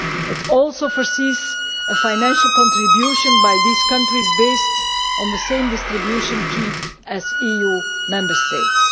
It also provides for a financial contribution by these countries based on the same distribution key as EU Member States.